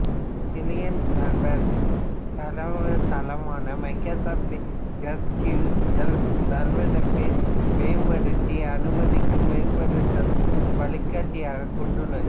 client server தரவுத்தளமான Microsoft S Q L சர்வருக்கு மேம்படுத்த அனுமதிக்கும் மேம்படுத்துதல் வழிகாட்டியைக் கொண்டுள்ளது